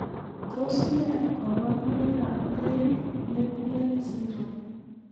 Tos nee koborunoikab Gray platelet syndrome?